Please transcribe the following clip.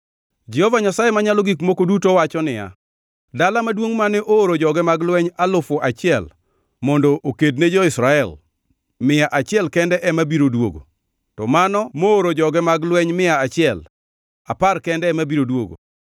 Jehova Nyasaye Manyalo Gik Moko Duto wacho niya, “Dala maduongʼ mane ooro joge mag lweny alufu achiel mondo oked ne jo-Israel, mia achiel kende ema biro duogo, to mano mooro joge mag lweny mia achiel, apar kende ema biro duogo.”